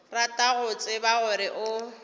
rata go tseba gore o